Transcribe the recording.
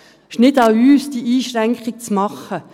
Es ist nicht an uns, diese Einschränkung zu machen.